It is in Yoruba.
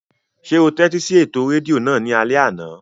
Ṣé o tẹ́tí sí ètò rédíò náà ní alẹ́ àná?